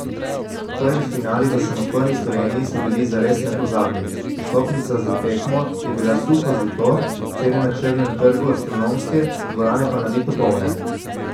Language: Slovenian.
Prvi finali v samostojni Sloveniji so bili zares nepozabni, vstopnica za tekmo je bila suho zlato, cene na črnem trgu astronomske, dvorane pa nabito polne.